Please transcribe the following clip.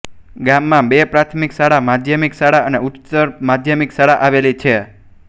ગામમાં બે પ્રાથમિક શાળા માધ્યમિક શાળા અને ઉચ્ચતર માધ્યમિક શાળા આવેલી છે